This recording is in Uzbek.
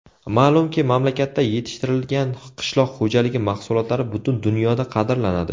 Ma’lumki, mamlakatda yetishtirilgan qishloq xo‘jaligi mahsulotlari butun dunyoda qadrlanadi.